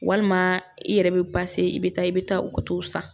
Walima i yɛrɛ bɛ i bɛ taa i bɛ taa u ka t'o san